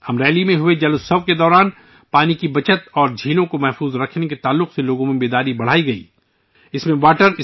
امریلی میں منعقد 'جل اتسو' کے دوران 'پانی کے تحفظ' اور جھیلوں کے تحفظ کے بارے میں لوگوں میں بیداری بڑھانے کی کوششیں کی گئیں